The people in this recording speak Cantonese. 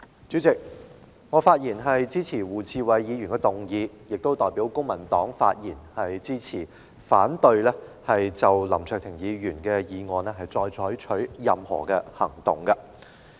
主席，我發言支持胡志偉議員的議案，並代表公民黨發言，支持不就譴責林卓廷議員的議案再採取任何行動。